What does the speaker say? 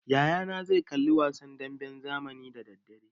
Yaya na zai kalli wasan damben zamani da daddare.